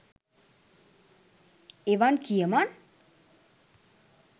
එවන් කියමන්